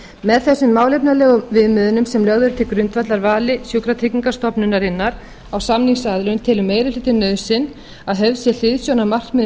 með þessum málefnalegu viðmiðunum sem lögð eru til grundvallar vali sjúkratryggingastofnunarinnar á samningsaðilum telur meiri hlutinn nauðsyn að höfð sé hliðsjón af markmiðum samkeppnislaga